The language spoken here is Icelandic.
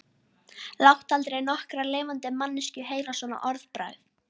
Láttu aldrei nokkra lifandi manneskju heyra svona orðbragð.